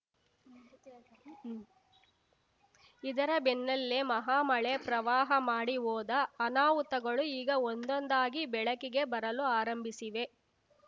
ಇದರ ಬೆನ್ನಲ್ಲೇ ಮಹಾ ಮಳೆ ಪ್ರವಾಹ ಮಾಡಿ ಹೋದ ಅನಾಹುತಗಳು ಈಗ ಒಂದೊಂದಾಗಿ ಬೆಳಕಿಗೆ ಬರಲು ಆರಂಭಿಸಿವೆ